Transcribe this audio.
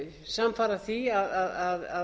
samfara því að